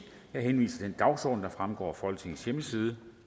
jeg henviser til den dagsorden der fremgår af folketingets hjemmeside